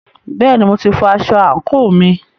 Bẹ́ẹ̀ni, mo ti fọ aṣọ àǹkóò mi.